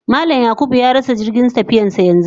Mallam (James/Yakubu) ya rasa jirgin tafiyarsa yanzu